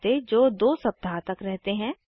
चकत्ते जो 2 सप्ताह तक रहते हैं